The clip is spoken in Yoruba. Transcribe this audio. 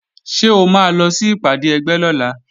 Ṣé o máa lọ sí ìpàdé ẹgbẹ́ lọ́la?